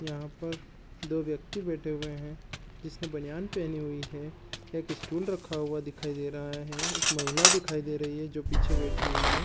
यहाँ पर दो व्यक्ति बैठे हुए है जिसने बनयान पेहनी हुई हैएक स्टूल रखा हुआ दिखाई दे रहा है एक महिला दिखाई दे रही है जो पीछे बैठी हुई है।